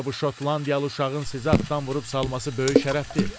Yoxsa bu şotlandiyalı uşağın sizə atdan vurub salması böyük şərəfdir?